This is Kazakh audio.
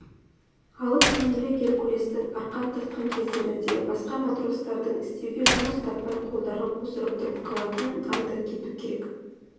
алып денелі геркулестің арқан тартқан кездерінде басқа матростардың істеуге жұмыс таппай қолдарын қусырып тұрып қалатынын айта кету керек